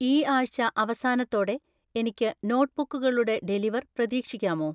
ഈ ആഴ്‌ച അവസാനത്തോടെ എനിക്ക് നോട്ട്ബുക്കുകളുടെ ഡെലിവർ പ്രതീക്ഷിക്കാമോ?